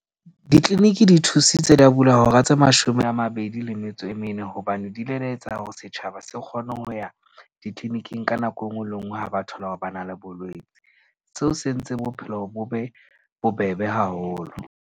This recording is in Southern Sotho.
Di-clinic-i di thusitse da bulwa hora tse mashome a mabedi le metso e mene. Hobane di ile da etsa hore setjhaba se kgone ho ya di-clinic-ing ka nako enngwe le enngwe ha ba thole hore ba na le bolwetsi. Seo se entse bophelo bo be bobebe haholo.